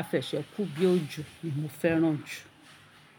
afẹ̀sẹ́ kù bí òjò ni mo fẹ́ràn jù.